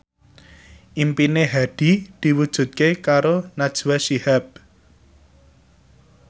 impine Hadi diwujudke karo Najwa Shihab